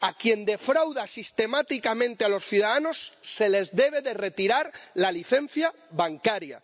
A quien defrauda sistemáticamente a los ciudadanos se les debe retirar la licencia bancaria.